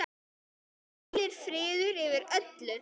Það hvílir friður yfir öllu.